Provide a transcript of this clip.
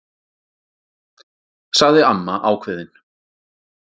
sagði amma ákveðin.